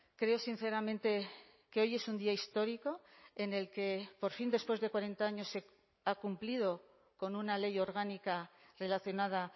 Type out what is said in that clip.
creo sinceramente que hoy es un día histórico en el que por fin después de cuarenta años se ha cumplido con una ley orgánica relacionada